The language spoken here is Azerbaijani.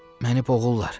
Məni boğurlar.